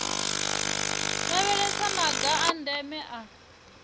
lavhelesa maga a ndeme a